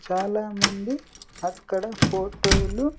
చాలామంది అక్కడ ఫోటోలు .